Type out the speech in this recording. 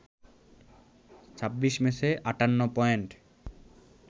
২৬ ম্যাচে ৫৮ পয়েন্ট